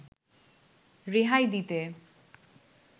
রেহাই দিতে